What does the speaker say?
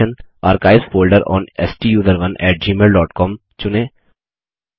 option archives folder on स्टूसरोन at gmailकॉम चुनें